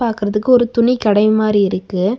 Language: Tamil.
பாக்கறதுக்கு ஒரு துணிக்கடை மாரி இருக்கு.